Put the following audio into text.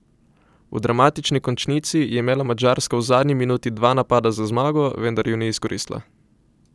V dramatični končnici je imela Madžarska v zadnji minuti dva napada za zmago, vendar ju ni izkoristila.